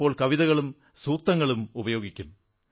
ചിലപ്പോൾ കവിതകളും സൂക്തങ്ങളുമുപയോഗിക്കും